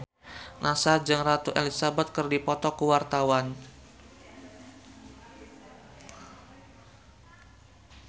Nassar jeung Ratu Elizabeth keur dipoto ku wartawan